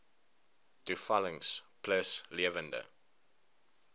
toevallings plus lewende